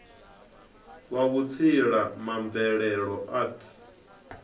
wa vhutsila ma mvelelo arts